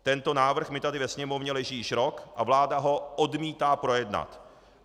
Tento návrh mi tady ve Sněmovně leží již rok a vláda ho odmítá projednat.